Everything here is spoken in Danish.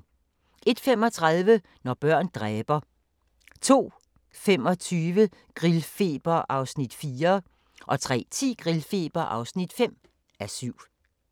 01:35: Når børn dræber 02:25: Grillfeber (4:7) 03:10: Grillfeber (5:7)